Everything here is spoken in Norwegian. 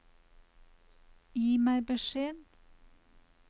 Gi meg beskjed